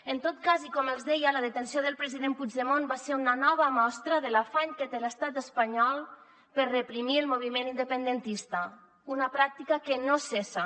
en tot cas i com els deia la detenció del president puigdemont va ser una nova mostra de l’afany que té l’estat espanyol per reprimir el moviment independentista una pràctica que no cessa